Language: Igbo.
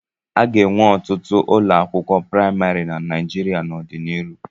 A ga-ewu ọtụtụ ụlọakwụkwọ praịmarị na Naịjirịa n'ọdịnihu.